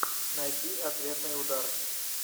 найти ответный удар